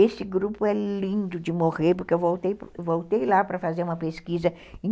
Esse grupo é lindo de morrer, porque eu voltei lá para fazer uma pesquisa em